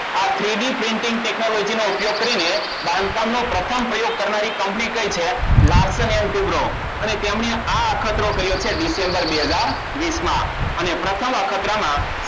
આ three D printingTechnology નો ઉપયોગ કરીને બાંધકામનો પ્રથમ પ્રયોગ કરનારી કંપની કયી છે અને તેમને આ અખતરો કર્યો છે ડિસેમ્બર બે હજાર વિષમાં અને પ્રથમ આપણા ક્રમમાં